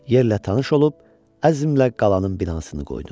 Yerlə tanış olub əzmlə qalanın binasını qoydu.